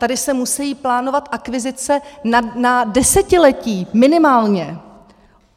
Tady se musí plánovat akvizice na desetiletí, minimálně.